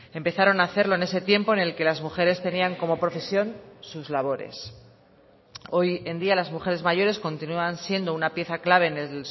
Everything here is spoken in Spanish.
empezaron a hacerlo en ese tiempo en el que las mujeres tenían como profesión sus labores hoy en día las mujeres mayores continúan siendo una pieza clave en el